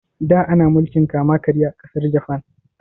Da ana mulkin kama karya a ƙasar Jafan